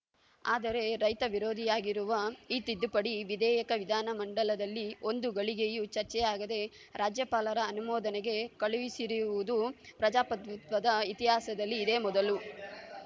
ಆದರೆ ರೈತವಿರೋಧಿಯಾಗಿರುವ ಈ ತಿದ್ದುಪಡಿ ವಿಧೇಯಕ ವಿಧಾನ ಮಂಡಲದಲ್ಲಿ ಒಂದು ಘಳಿಗೆಯೂ ಚರ್ಚೆಯಾಗದೆ ರಾಜ್ಯಪಾಲರ ಅನುಮೋದನೆಗೆ ಕಳುಹಿಸಿರುವುದು ಪ್ರಜಾಪ್ರಭುತ್ವದ ಇತಿಹಾಸದಲ್ಲಿ ಇದೇ ಮೊದಲು